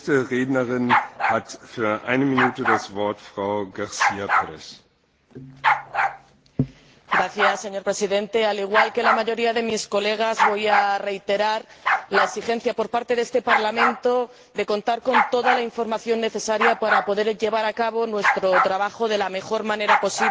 Señor Presidente, al igual que la mayoría de mis colegas, voy a reiterar la exigencia por parte de este Parlamento de contar con toda la información necesaria para poder llevar a cabo nuestro trabajo de la mejor manera posible, en un contexto de dificultad —como el que atravesamos en estos momentos— y de gran incertidumbre por parte del sector,